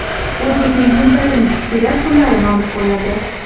U qizning sumkasini titkilab, pullarini olib qo‘yadi.